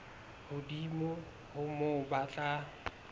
hodimo ho moo ba tla